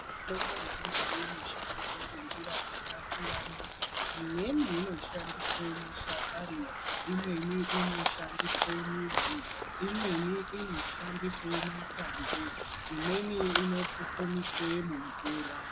Mitombo yechindau inoshandiswe ngenjira dzakasiyana-siyana. Imweni inoshandiswe mashakani, imweni inoshandiswe midzi, imweni inoshandiswe makwande. Imweni inopupumiswe mumvura.